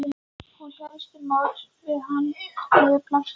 Hún hélt til móts við hann niður plankana.